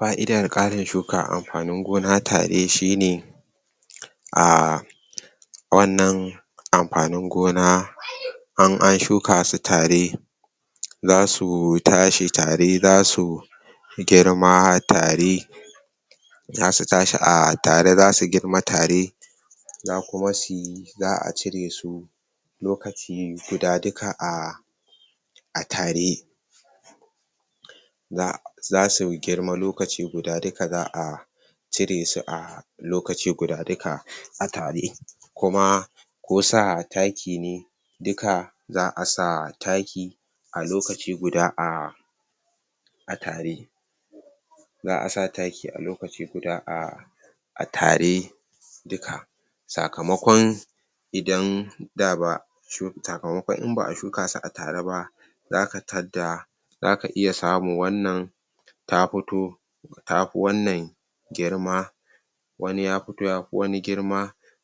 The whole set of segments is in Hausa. fa'idan karin shukan anfanin gona tare shine ah wan nan anfanin gona in an shuka su tare da suu tashi tare da su girma ma tare da su tashi a tare da su girma a tare za kuma suyi zaa cire suu lokaci guda duka, ah a tare ga da su girma lokaci guda, duka zaa cire su ah lokaci guda duka a tare kuma kuma ko sa taki ne duka zaa sa taki a lokaci guda ahh a tare za a sa taki a lokaci guda, a a tare duka saka makon idan daa shuka, sakamakon in baa shuka su tareba zaka tatda zaka yi, samun wan nan ta fi to ta fi wannan girma wani ya fito yafi wani girma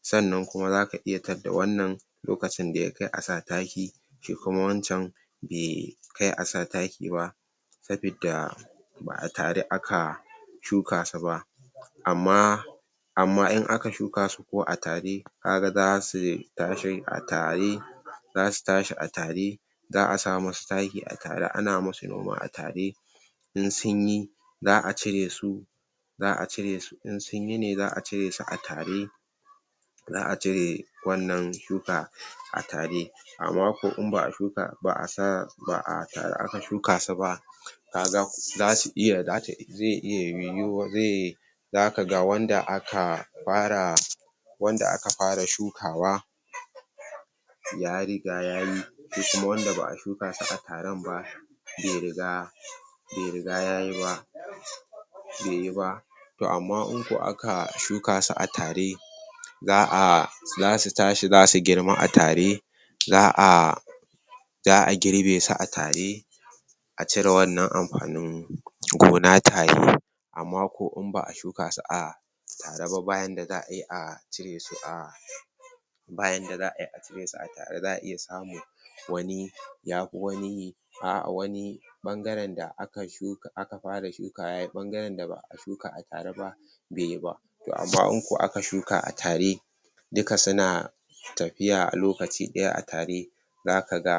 san nan kuma zaka iya tadda wannan lokacin da ya kai asa taki lokacin da ya kai asa taki kuma wan can be kai a sa taki ba sabi da ba a tare a ka baa tare a ka shuka su ba amma amma in aka shukasu ko a tare ka ga zasu tashi a tare za su tashi a tare za a sa mu su taki a tare, ana musu noma a tare in sun yi za a cire su za a cire su in sunyi ne, zaa ciresu, a tare za a cire wan nan shuka a tare amma ko in ba a, shuka ba ba a sa ba a taru aka shuka su ba taru aka shuka su ba kaga asu iya zai iya yihuwa, zai daka ga wanda aka fara wanda aka fara shukawa ya riga yayi shi kuma wanda ba a shukasu a tarenba be riga be riga yayi ba bai yi ba to amma in ko aka, shuka su a tare za a za su tashi za su girma a tare za a za a girbe su, a tare a cire wannan anfanin gona tare amma ko in ba a shuka su a tareba, ba yadda za a yi a cire su a tare ba yadda zaayi a cire su a tare, za a iya samun wani ya fi wani a wani bangaren da aka shuka, a ka fara shukawa yayi, bangaren da ba a suka a tareba bai yiba to amma in ko aka shuka a tare duka suna tafiya a lokaci daya a tare zaka ga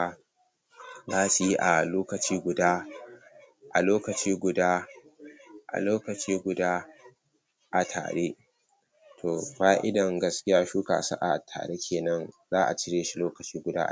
za su yi a lokaci guda a lokaci guda a lokaci guda a tare to fa'idan gaskiya shukasu, a tare ke nan, za a cire su, lokaci guda a tare